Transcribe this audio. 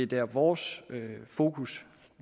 der vores fokus